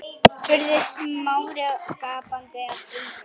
spurði Smári gapandi af undrun.